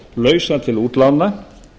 lausa til útlána